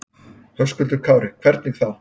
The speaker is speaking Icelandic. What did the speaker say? Höskuldur Kári: Hvernig þá?